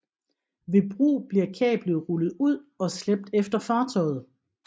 Ved brug bliver kablet rullet ud og slæbt efter fartøjet